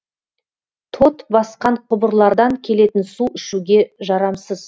тот басқан құбырлардан келетін су ішуге жарамсыз